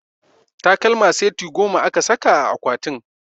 Takalma seti goma aka saka a akwatin